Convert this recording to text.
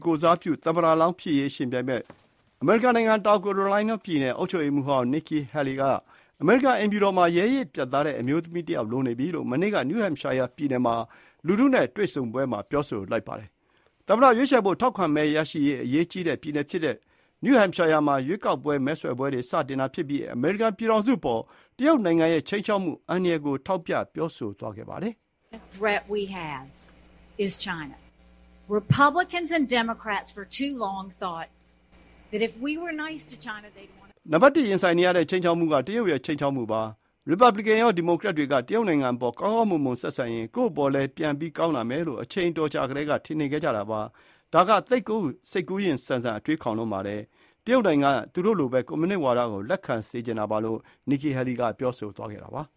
ကိုယ်စားပြု သမ္မတလောင်း ဖြစ်ရေး ယှဉ်ပြိုင်မယ့် တောင်ကာရိုလိုင်းနားပြည်နယ် အုပ်ချုပ်ရေးမှူးဟောင်း Nikki Haley က အမေရိကန် အိမ်ဖြူတော်မှာ ရဲရင့်ပြတ်သားတဲ့ အမျိုးသမီးတယောက် လိုနေပြီလို့ မနေ့က New Hampshire ပြည်နယ်မှာ လူထုနဲ့ တွေ့ဆုံပွဲမှာ ပြောဆိုပါတယ်။ သမ္မတလောင်းရွေးချယ်ဖို့ ထောက်ခံမဲရရေး အရေးကြီးတဲ့ ပြည်နယ်ဖြစ်တဲ့ New Hampshire မှာ မဲဆွယ်ပွဲတွေ စတင်တာဖြစ်ပြီး အမေရိကန်ပြည်ထောင်စုအပေါ် တရုတ်နိုင်ငံရဲ့ ခြိမ်းခြောက်မှု အန္တရာယ်ကို ထောက်ပြပြောဆိုသွားပါတယ်။ "နံပတ်တစ် ရင်ဆိုင်နေရတဲ့ ခြိမ်းခြောက်မှုက တရုတ်ရဲ့ ခြိမ်းခြောက်မှုပါ။ ရီပတ်ဗလစ်ကန်ရော ဒီမိုကရက်တွေက တရုတ်နိုင်ငံအပေါ် ကောင်းကောင်းမွန်မွန် ဆက်ဆံရင် ကိုယ့်အပေါ်လည်း ပြန်ပြီး ကောင်းလာမယ်လို့ အချိန်အတော်ကြာကတည်းက ထင်နေခဲ့ကြတာပါ။ ဒါက သိပ်ကို စိတ်ကူးယဉ်ဆန် အတွေးခေါင်လွန်းပါတယ်။ တရုတ်နိုင်ငံက သူတို့လိုပဲ ကွန်မြူနစ်ဝါဒကို လက်ခံစေချင်တာပါလို့ Nikki Haley က ပြောဆိုသွားတာပါ။